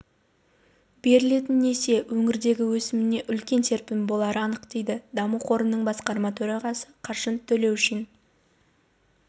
берілетін несие өңірдегі өсіміне үлкен серпін болары анық дейді даму қорының басқарма төрағасы қаныш төлеушин